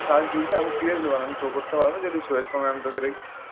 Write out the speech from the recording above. কাজ ঢুকবে আমি seriously বল। আমি show করতে পারবো যদি show এর সময় আমি তোকে দেখি।